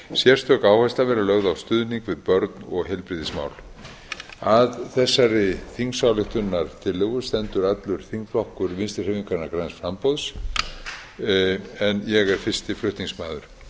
sérstök áhersla verði lögð á stuðning við börn og heilbrigðismál að þessari þingsályktunartillögu stendur allur þingflokkur vinstri hreyfingarinnar græns framboðs en ég er fyrsti flutningsmaður